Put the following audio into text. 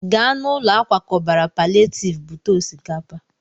Gaa n'ụlọ akwakọbara palịetivu bute osikapa!